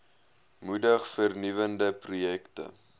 moedig vernuwende projekte